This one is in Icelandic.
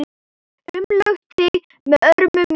Umlukt þig með örmum mínum.